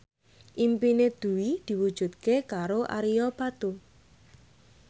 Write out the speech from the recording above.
impine Dwi diwujudke karo Ario Batu